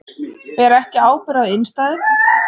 Bera ekki ábyrgð á innstæðum